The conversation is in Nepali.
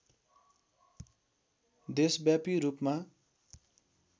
देशव्यापी रूपमा